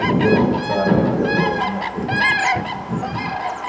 придётся в старое доброе место идти